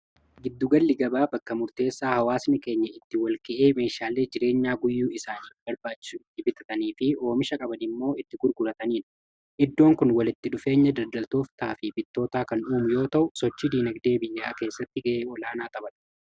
Giddugalli-gabaa bakka murteessaa hawaasni keenya itti walga'ee meeshaallee jireenyaa guyyuu isaanii barbaachu dibitatanii fi oomisha qaban immoo itti gurgurataniindha. iddoon kun walitti dhufeenya dadaltooftaa fi bittootaa kan uumu yoo ta'u sochi diinagdee biyyaa keessatti ga'ee olaanaa taphata.